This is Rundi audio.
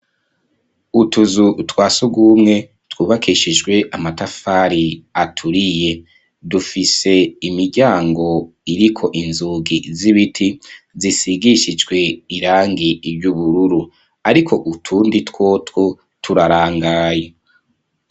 Utuzu twasugumwe twubakeshijwe amatafari aturiye, dufise imiryango iriko inzugi z'ibiti, zisigishijwe irangi ry'ubururu, ariko utundi twotwo turarangaye.